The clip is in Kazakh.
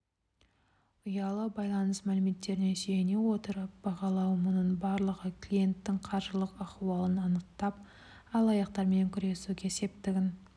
ұялы байланыс мәліметтеріне сүйене отырып бағалау мұның барлығы клиенттің қаржылық ахуалын анықтап алаяқтармен күресуге септігін